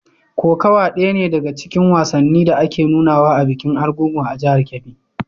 Kokawa ɗaya ne daga cikin wasannin da ake nunawa a bikin Argungu a jihar Kebbi.